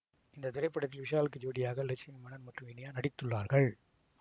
இந்த திரைப்படத்தில் விஷாலுக்கு ஜோடியாக லட்சுமி மேனன் மற்றும் இனியா நடித்துள்ளார்கள்